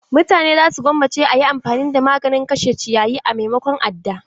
Mutane za su gwammace a yi amfani da maganin kashe ciyayi a maimakon adda.